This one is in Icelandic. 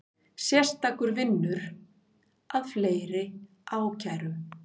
Sérstakur vinnur að fleiri ákærum